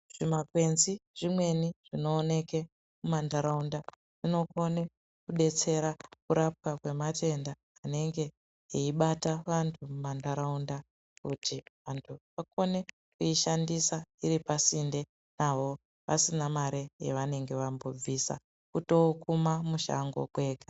Zvimakwrnzi zvimweni zvinoonek mumantaraunda zvinokone kudetsera kurapwa kwematenda Anenge eibata vantu mumantaraunda kuti vantu vakone kuishandisa iri pasinde navo pasina mare yavanenge vambobvisa kutookuma mushango kwega.